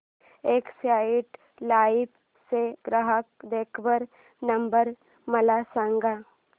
Exide life चा ग्राहक देखभाल नंबर मला सांगा